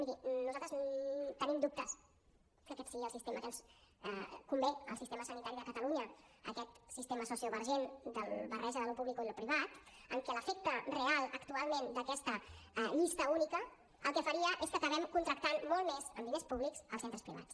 miri nosaltres tenim dubtes que aquest sigui el sistema que ens convé al sistema sanitari de catalunya aquest sistema sociovergent de barreja d’allò públic i allò privat en què l’efecte real actualment d’aquesta llista única el que faria és que acabem contractant molt més amb diners públics als centres privats